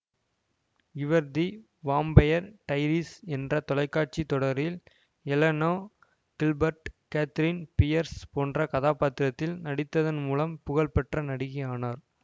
இவர் The Vampire Diaries என்ற தொலைக்காட்சி தொடரில் எலெனா கில்பர்ட் கேத்ரீன் பியர்ஸ் போன்ற கதாபாத்திரத்தில் நடித்ததன் மூலம் புகழ் பெற்ற நடிகை ஆனார்